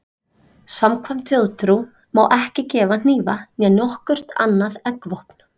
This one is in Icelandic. Samkvæmt þjóðtrú má ekki gefa hnífa né nokkurt annað eggvopn.